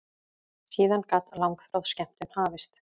Síðan gat langþráð skemmtun hafist.